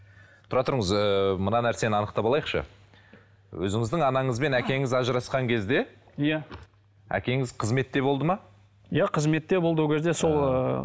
тұра тұрыңыз ыыы мына нәрсені анықтап алайықшы өзіңіздің анаңыз бен әкеңіз ажырасқан кезде иә әкеңіз қызметте болды ма иә қызметте болды ол кезде сол ыыы